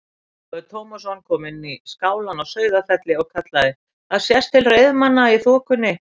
Ólafur Tómasson kom inn í skálann á Sauðafelli og kallaði:-Það sést til reiðmanna í þokunni!